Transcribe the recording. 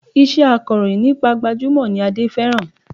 Iṣẹ́ akọ̀rọ̀yìn nípa gbajúmọ̀ ni Adé fẹ́ràn